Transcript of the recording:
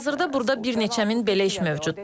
Hazırda burada bir neçə min belə iş mövcuddur.